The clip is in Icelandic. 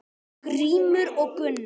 Grímur og Gunnar.